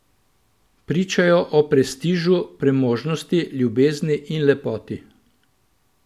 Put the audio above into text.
Pričajo o prestižu, premožnosti, ljubezni in lepoti.